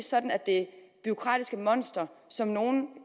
sådan at det bureaukratiske monster som nogle